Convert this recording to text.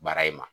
Baara in ma